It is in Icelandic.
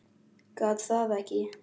Gat það ekki.